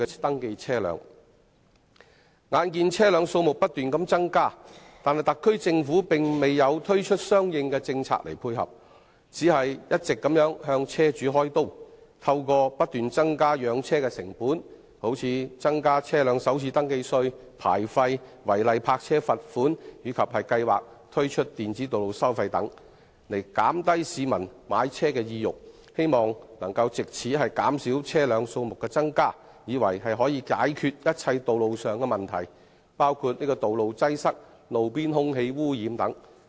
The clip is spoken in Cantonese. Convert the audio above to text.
眼見車輛數目不斷增加，但特區政府卻沒有推出相應政策配合，只是一直向車主"開刀"，透過不斷增加養車成本，例如增加車輛首次登記稅、牌照費、違例泊車定額罰款及計劃推出的電子道路收費等，減低市民的買車意欲，藉以減少車輛的數目，以為這樣便可以解決所有道路問題，包括道路擠塞和路邊空氣污染等。